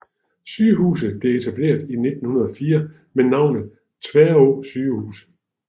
Sygehuset blev etableret i 1904 med navnet Tværå sygehus